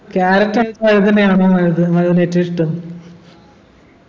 carrot വഴുതനയാണോ മനുവിനു ഏറ്റവും ഇഷ്ടം